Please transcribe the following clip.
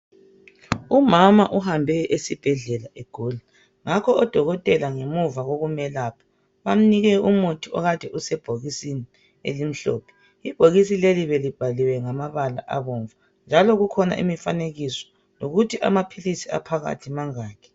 Umama uhambe esibhedlela egula. Ngakho odokotela ngemuva kokumelapha bamnike umuthi okade usebhokisini elimhlophe . Ibhokisi leli belibhaliwe ngamabala abomvu njalo kukhona imfanekiso lokuthi amaphilisi aphakathi mangaki.